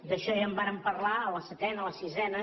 d’això ja en vàrem parlar a la setena a la sisena